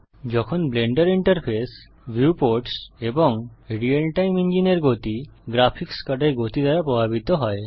যখন Blender interface viewports এবং real time ইঞ্জিনের গতি গ্রাফিক্স কার্ডের গতি দ্বারা প্রভাবিত হয়